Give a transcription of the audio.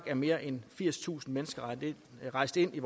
er mere end firstusind mennesker rejst ind i